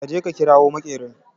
Ka je ka kirawo makerin